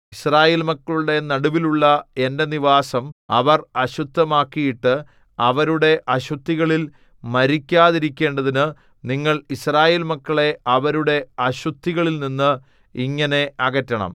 യിസ്രായേൽ മക്കളുടെ നടുവിലുള്ള എന്റെ നിവാസം അവർ അശുദ്ധമാക്കിയിട്ടു അവരുടെ അശുദ്ധികളിൽ മരിക്കാതിരിക്കേണ്ടതിനു നിങ്ങൾ യിസ്രായേൽ മക്കളെ അവരുടെ അശുദ്ധികളിൽനിന്ന് ഇങ്ങനെ അകറ്റണം